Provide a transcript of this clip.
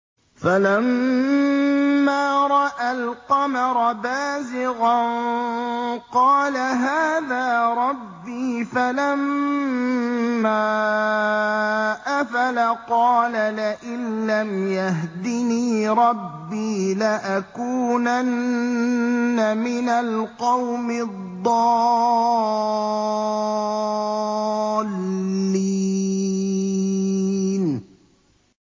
فَلَمَّا رَأَى الْقَمَرَ بَازِغًا قَالَ هَٰذَا رَبِّي ۖ فَلَمَّا أَفَلَ قَالَ لَئِن لَّمْ يَهْدِنِي رَبِّي لَأَكُونَنَّ مِنَ الْقَوْمِ الضَّالِّينَ